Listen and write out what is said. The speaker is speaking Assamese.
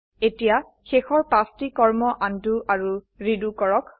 এতিয়া শেষৰ পাঁচটি কৰ্ম আনডু আৰু ৰিডু কৰক